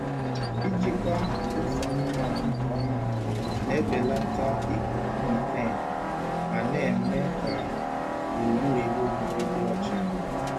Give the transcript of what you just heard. Ijikwa mkpofu anụmanụ nke ọma na-ebelata ikuku methane ma na-eme ka gburugburu ebe obibi dị ọcha.